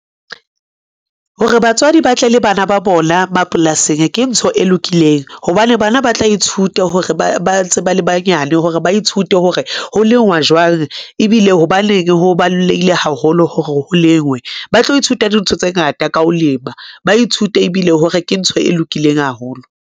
Hore batswadi ba tle le bana ba bona mapolasing ke ntho e lokileng, hobane bana ba tla ithuta hore ba ntse ba le banyane hore ba ithute hore ho lengwa jwang, ebile hobaneng ho balolehile haholo hore ho lengwe. Ba tlo ithuta dintho tse ngata ka ho lema, ba ithute ebile hore ke ntho e lokileng haholo.